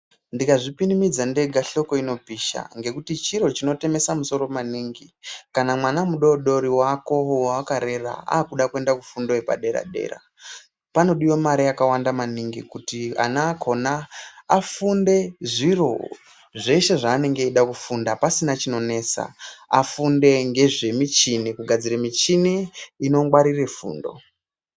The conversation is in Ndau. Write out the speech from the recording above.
Ndikazvipinimidza ndega, hloko inopisha ngekuti chiro chinotemesa musoro maningi kana mwana mudori-dori wako wawakarera aakuda kuenda kufundo yepadera-dera. Panodiwa mare yakawanda maningi kuti ana akona afunde zviro zveshe zvaanenge eyida kufunda pasina zvinonesa, afunde ngezvemishini, kugadzire mishini inongwarire fundo.